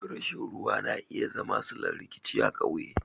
Rashin ruwa na iya zama sillar rikici a ƙauye.